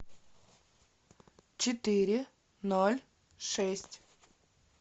четыре ноль шесть